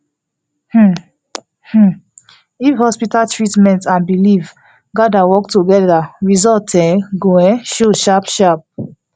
hmm hmm if hospital treatment and belief gader work together result um go um show sharp sharp